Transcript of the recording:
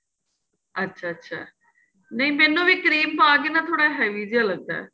ਅੱਛਾ ਅੱਛਾ ਨਹੀਂ ਮੈਂਨੂੰ ਵੀ cream ਪਾਕੇ ਨਾ ਥੋੜਾ heavy ਜਾਂ ਲੱਗਦਾ